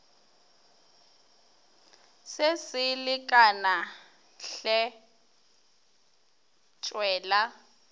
se se lekane hle tšwela